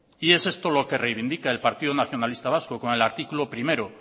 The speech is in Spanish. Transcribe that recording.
y es esto lo que reivindica el partido nacionalista vasco con el artículo primero